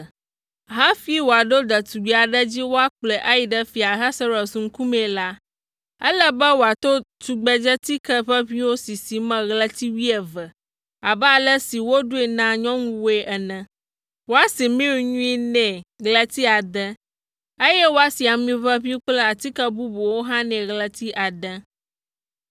Hafi wòaɖo ɖetugbi aɖe dzi woakplɔe ayi ɖe Fia Ahasuerus ŋkumee la, ele be wòato tugbedzetike ʋeʋĩwo sisi me ɣleti wuieve abe ale si woɖoe na nyɔnuwoe ene. Woasi mir nyui nɛ ɣleti ade, eye woasi ami ʋeʋĩ kple atike bubuwo hã nɛ ɣleti ade.